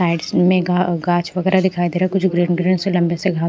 side में गाछ वगैरह दिखाई दे रहा है कुछ ग्रीन ग्रीन से लंबे से घास --